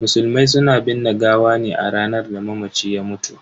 Musulmai suna binne gawa ne a ranar da mamaci ya mutu.